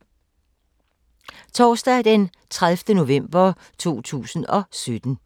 Torsdag d. 30. november 2017